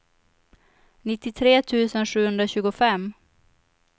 nittiotre tusen sjuhundratjugofem